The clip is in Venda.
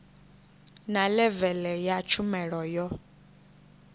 na levele ya tshumelo yo